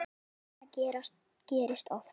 Sindri: Þetta gerist oft?